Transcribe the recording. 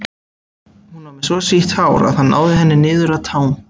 Hún var með svo sítt hár að það náði henni niður að tám.